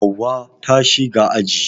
Hauwa ta shiga aji